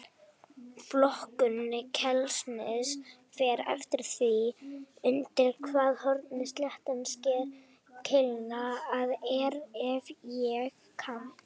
Flokkun keilusniðs fer eftir því undir hvaða horni sléttan sker keiluna.